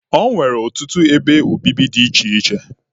E nwere ọtụtụ ebe obibi dị iche iche.